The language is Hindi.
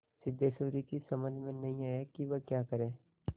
सिद्धेश्वरी की समझ में नहीं आया कि वह क्या करे